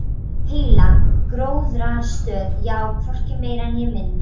Heila gróðrarstöð, já, hvorki meira né minna.